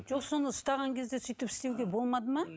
жоқ соны ұстаған кезде сөйтіп істеуге болмады ма